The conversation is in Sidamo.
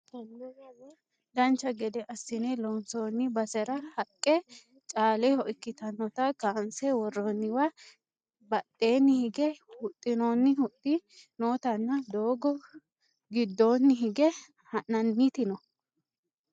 Dancha gede assine loonsoonni basera haqqe caaleho ikkitannota kaanse worroonniwa badheenni hige huxxinoonni huxxi nootanna doogo giddoonni hinge ha'nanniti no